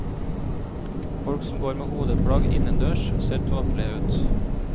Folk som går med hodeplagg innendørs ser tåpelige ut.